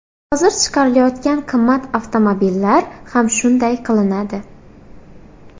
Hozir chiqarilayotgan qimmat avtomobillar ham shunday qilinadi.